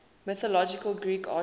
mythological greek archers